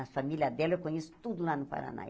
A família dela eu conheço tudo lá no Paraná.